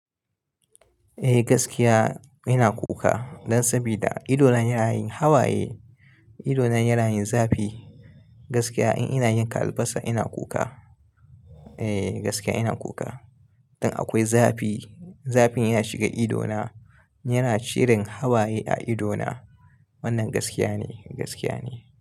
Eh gaskiya ina kuka dan sabida idona yana yin hawaye, idona yana yin zafi. Gaskiya in ina yanka albasa ina kuka. Eh gaskiya ina kuka. Dan akwai zafi, zafin ya shiga idona, yana shirin hawaye a idona. Wannan gaskiya ne, gaskiya ne.